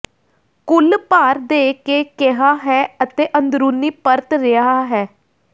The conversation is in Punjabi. ਕੁੱਲ ਭਾਰ ਦੇ ਕੇ ਕਿਹਾ ਹੈ ਅਤੇ ਅੰਦਰੂਨੀ ਪਰਤ ਰਿਹਾ ਹੈ